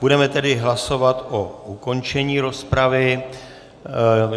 Budeme tedy hlasovat o ukončení rozpravy.